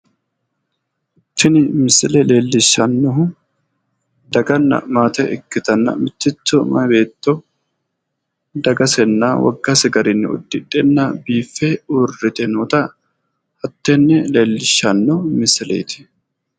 Tini misile leellishshannohu daganna maate ikkitanna mitticho mayi beeto dagasenna woggase garinni udidhenna biiffe ururrite noota hattenne leellishshanno misileeti